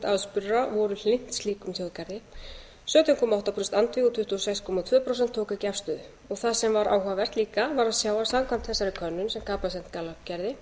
aðspurðra voru hlynnt slíkum þjóðgarði sautján komma átta prósent andvíg og tuttugu og sex komma tvö prósent tóku ekki afstöðu það sem var áhugavert líka var að sjá að samkvæmt þessari könnun sem capacent gallup gerði